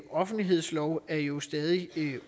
offentlighedsloven jo stadig er